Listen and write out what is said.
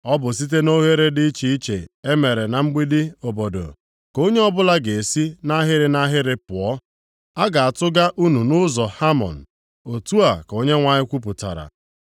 Ọ bụ site nʼoghere dị iche iche e mere na mgbidi obodo, ka onye ọbụla ga-esi nʼahịrị nʼahịrị pụọ, a ga-atụga unu nʼụzọ Hamon.” Otu a ka Onyenwe anyị kwupụtara.